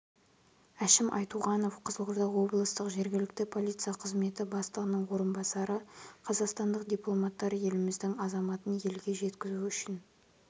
әшім айтуғанов қызылорда облыстық жергілікті полиция қызметі бастығының орынбасары қазақстандық дипломаттар еліміздің азаматын елге жеткізу үшін